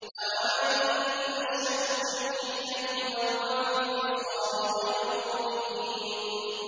أَوَمَن يُنَشَّأُ فِي الْحِلْيَةِ وَهُوَ فِي الْخِصَامِ غَيْرُ مُبِينٍ